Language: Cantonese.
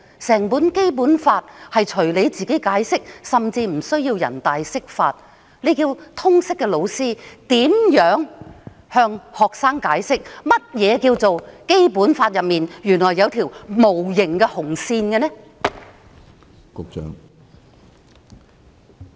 整份《基本法》任由她解釋，甚至無須由全國人民代表大會釋法，這叫通識科教師如何向學生解釋，《基本法》內原來有一條無形的"紅線"？